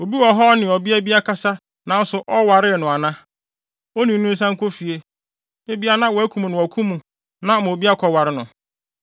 Obi wɔ ha a ɔne ɔbea bi akasa nanso ɔwaree no ana? Onii no nsan nkɔ fie! Ebia na wɔakum no wɔ ɔko no mu na ama obi akɔware no.”